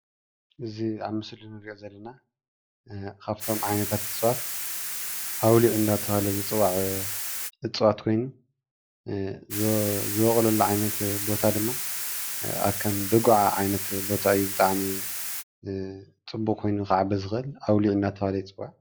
እዚ ኣብ ምስሊ እንሪኦ ዘለና ካብቶም ዓይነታት እፅዋት ኣውሊዕ እናተባህለ ዝፅዋዕ እፅዋት ኮይኑ ዝቦቑለሉ ዓይነት ቦታ ድማ ኣብ ከም ዶግዓ ዓይነት ቦታ እዩ ብጣዕሚ ፅቡቅ ኮይኑ ክዓቢ ዝክእል ኣውሊዕ እናተባህለ ይፅዋዕ ።